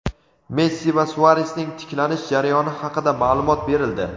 Messi va Suaresning tiklanish jarayoni haqida maʼlumot berildi.